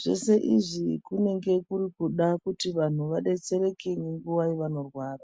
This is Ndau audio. zvese izvi kunenge kuri kuda kuti vanthu vadetsereke nguva yevanorwara.